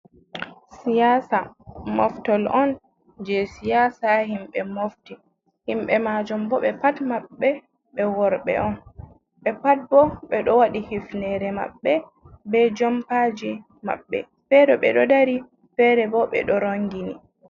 Siyasa, moftol on jei siyasa, himɓe mofti himɓe majum bo ɓe pat maɓɓe ɓe worɓe on, ɓe pat bo ɓe ɗo wadi hifnere maɓɓe, be jompaji maɓɓe, fere ɓe ɗo ɗari, fere ɓo ɓe ɗo rongini.